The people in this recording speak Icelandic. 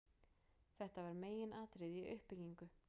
Þetta var meginatriði í uppbyggingu